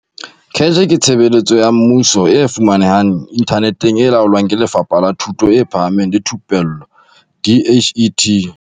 CACH ke tshebeletso ya mmuso e fumanehang inthaneteng e laolwang ke Lefapha la Thuto e Phahameng le Thupello DHET.